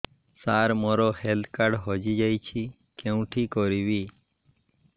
ସାର ମୋର health card ହଜି ଯାଇଛି କେଉଁଠି କରିବି